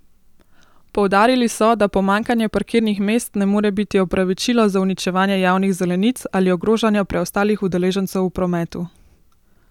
Poudarili so, da pomanjkanje parkirnih mest ne more biti opravičilo za uničevanje javnih zelenic ali ogrožanja preostalih udeležencev v prometu.